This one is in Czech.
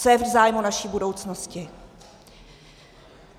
Co je v zájmu naší budoucnosti?